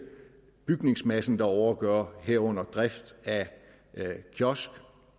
bygningsmassen derovre at gøre herunder drift af kiosk